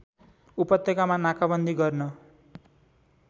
उपत्यकामा नाकाबन्दी गर्न